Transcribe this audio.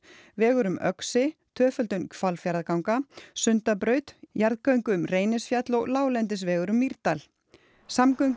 vegur um Öxi tvöföldun Hvalfjarðarganga Sundabraut jarðgöng um Reynisfjall og láglendisvegur um Mýrdal